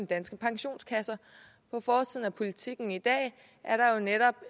danske pensionskasser på forsiden af politiken i dag er der jo netop